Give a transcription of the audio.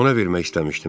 Ona vermək istəmişdim.